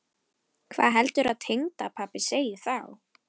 Hvað heldurðu að tengdapabbi segði þá?